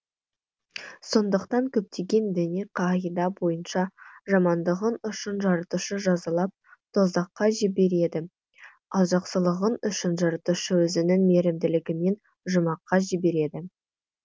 сондықтан көптеген діни қағида бойынша жамандығың үшін жаратушы жазалап тозаққа жібереді ал жақсылығың үшін жаратушы өзінің мейрімділігімен жұмаққа жібереді